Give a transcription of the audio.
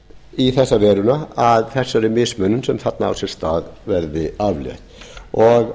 í þessa veruna að þessari mismunun sem þarna á sér stað verði aflétt og